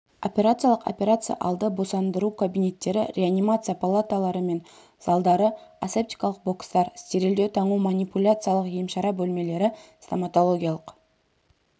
операциялық операция алды босандыру кабинеттері реанимация палаталары мен залдары асептикалық бокстар стерильдеу таңу манипуляциялық емшара бөлмелері стоматологиялық